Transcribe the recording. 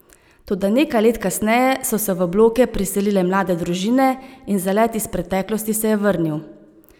Toda nekaj let kasneje so se v bloke priselile mlade družine in zalet iz preteklosti se je vrnil.